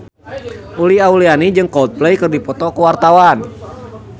Uli Auliani jeung Coldplay keur dipoto ku wartawan